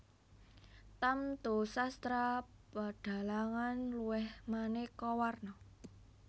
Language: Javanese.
Tamtu sastra pedhalangan luwih maneka warna